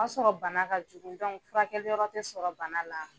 O sɔrɔ bana ka jugun furakɛli yɔrɔ tɛ sɔrɔ bana la.